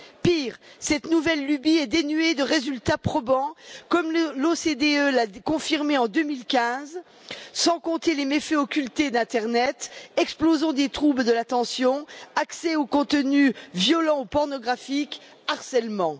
Pire, cette nouvelle lubie est dénuée de résultats probants, comme l'OCDE l'a confirmé en 2015, sans compter les méfaits occultés d'internet explosion des troubles de l'attention, accès aux contenus violents ou pornographiques, harcèlement.